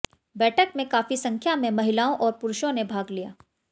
बैठक में काफी संख्या में महिलाओं और पुरूषों ने भाग लिया